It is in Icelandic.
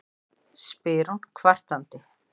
spyr hún kvartandi.